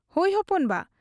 ᱼᱼᱼᱦᱚᱭ ᱦᱚᱯᱚᱱ ᱵᱟ !